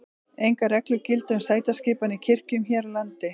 engar reglur gilda um sætaskipan í kirkjum hér á landi